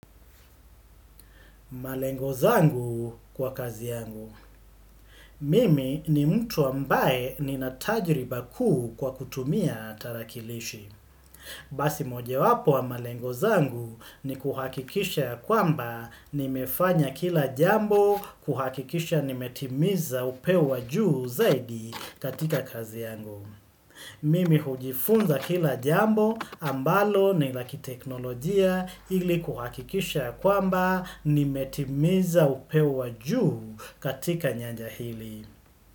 Malengo zangu kwa kazi yangu. Mimi ni mtu ambaye ninatajriba kuu kwa kutumia tarakilishi. Basi mojawapo wa malengo zangu ni kuhakikisha kwamba nimefanya kila jambo kuhakikisha nimetimiza upeo wa juu zaidi katika kazi yangu. Mimi hujifunza kila jambo ambalo ni la kiteknolojia ili kuhakikisha kwamba nimetimiza upeo wa juu katika nyanja hili.